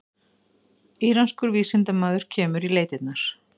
Íranskur vísindamaður kemur í leitirnar